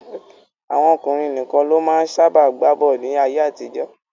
Àwọn ọkùnrin nìkan ló máa ń sábà gbá bọ́ọ̀lù ní ayé-àtijọ́.